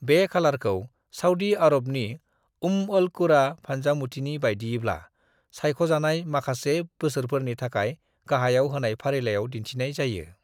बे खालारखौ सऊदी आरबनि उम्म अल-कुरा फानजामुथिनि बायदियैब्ला सायख'जानाय माखासे बोसोरफोरनि थाखाय गाहाइयाव होनाय फारिलायाव दिन्थिनाय जायो ।